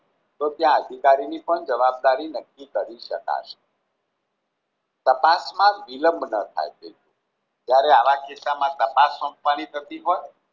તો ત્યાં અધિકારીની પણ જવાબદારી નક્કી કરી શકાશે તપાસમાં વિલંબ ન થાય તે જયારે આવા કિસ્સામાં તપાસ સોંપવાની તકલીફ હોય